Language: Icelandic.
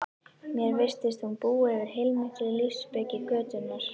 Mér virtist hún búa yfir heilmikilli lífsspeki götunnar